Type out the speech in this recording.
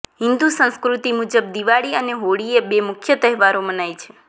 હિન્દુ સંસ્કૃતિ મુજબ દિવાળી અને હોળીએ બે મુખ્ય તહેવારો મનાય છે